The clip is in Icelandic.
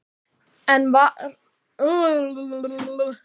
En svo var eins og fjölskyldan væri honum einskis virði.